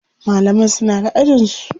Malaman suna da ajin su.